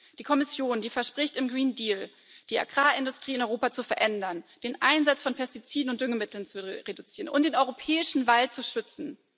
Die Kommission verspricht im Green Deal die Agrarindustrie in Europa zu verändern, den Einsatz von Pestiziden und Düngemitteln zu reduzieren und den europäischen Wald zu schützen.